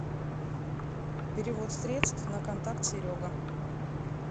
перевод средств на контакт серега